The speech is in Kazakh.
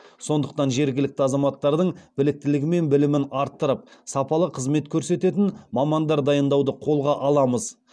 сондықтан жергілікті азаматтардың біліктілігі мен білімін арттырып сапалы қызмет көрсететін мамандар дайындауды қолға аламыз